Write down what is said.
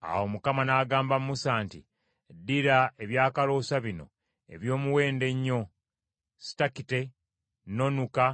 Awo Mukama n’agamba Musa nti, “Ddira ebyakaloosa bino eby’omuwendo ennyo: sitakite, n’onuka,